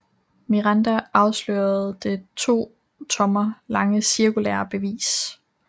Miranda afslørede det to tommer lange cirkulære bevis